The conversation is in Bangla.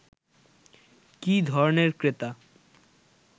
কী ধরনের ক্রেতা